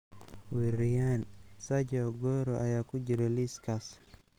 Weeraryahan Sergio Aguero ayaa ku jira liiskaas.